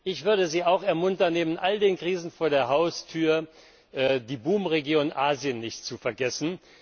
Ich würde Sie auch ermuntern, neben all den Krisen vor der Haustür die Boomregion Asien nicht zu vergessen.